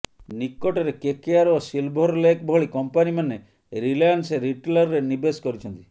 ନିକଟରେ କେକେଆର ଓ Silver Lake ଭଳି କମ୍ପାନୀମାନେ ରିଲାଏନ୍ସ ରିଟେଲରେ ନିବେଶ କରିଛନ୍ତି